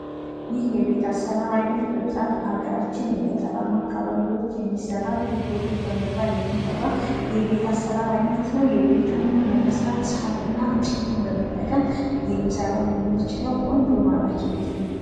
ይህ የቤት አሰራር አይነት በብዛት በአገራችን የገጠራማ አካባቢዎች የሚሠራ ጎጆ ቤት በመባል የሚጠራ የቤት አሰራር አይነት ነው ቤቱንም ለመስራት ሣር እና እንጨትን በመጠቀም ልንሰራው የምንችለው ቆንጆ ማራኪ ቤት ነው